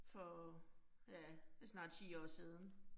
For ja det snart 10 år siden